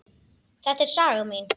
Þetta er saga mín.